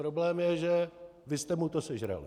Problém je, že vy jste mu to sežrali.